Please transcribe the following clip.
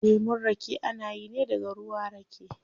Lemun rake ana yi ne daga ruwa rake